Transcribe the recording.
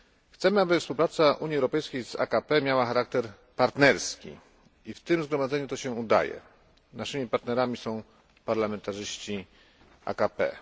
Chcemy, aby współpraca Unii Europejskiej z AKP miała charakter partnerski i w tym Zgromadzeniu się to udaje. Naszymi partnerami są parlamentarzyści AKP.